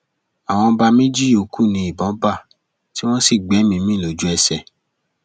àwọn ọba méjì yòókù ni ìbọn bá tí wọn sì gbẹmíín mi lójúẹsẹ